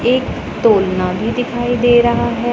एक तोलना भी दिखाई दे रहा है।